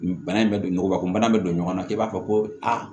Bana in bɛ don nɔgɔ ko bana bɛ don ɲɔgɔn na k'i b'a fɔ ko aa